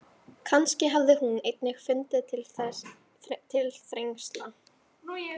Kannski hafði hún einnig fundið til þrengsla.